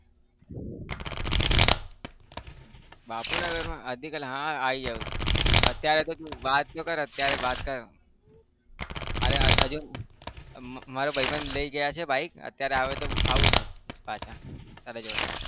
બાપુનગરમાં અડધી કલાકમાં હા આવી જાવ અત્યારે તું વાત તો કર અત્યારે વાત કર અરે હજુ મારા ભાઈબંધ લઇ ગયા છે bike અત્યારે આવે તો આવું છુ પાછા તારા જોડે.